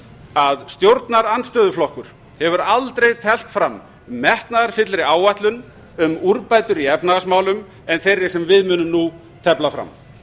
að stjórnarandstöðuflokkur hefur aldrei teflt fram metnaðarfyllri áætlun um úrbætur í efnahagsmálum en meira sem við munum nú tefla fram